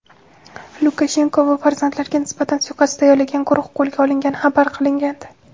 Lukashenko va farzandlariga nisbatan suiqasd tayyorlagan guruh qo‘lga olingani xabar qilingandi.